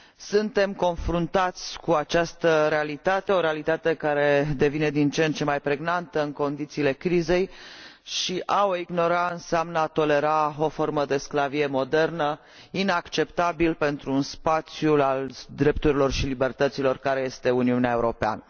Suntem confruntați cu această realitate, o realitate care devine din ce în ce mai pregnantă în condițiile crizei și a o ignora înseamnă a tolera o formă de sclavie modernă, fapt inacceptabil pentru spațiul drepturilor și al libertăților care este Uniunea Europeană.